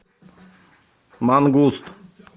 мангуст